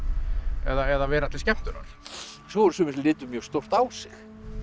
eða vera til skemmtunar svo voru sumir sem litu mjög stórt á sig